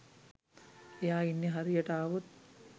එයා ඉන්න හරියට ආවොත්